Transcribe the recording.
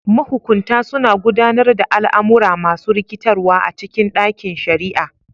Mahukunta suna gudanar da al'amura masu rikitarwa a cikin ɗakin shari'a.